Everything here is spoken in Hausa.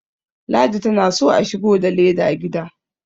ladi tana so a shigo da leda gida